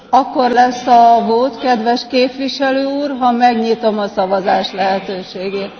Akkor lesz a vote, kedves Képviselő Úr, ha megnyitom a szavazás lehetőségét.